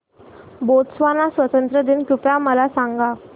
Botswana स्वातंत्र्य दिन कृपया मला सांगा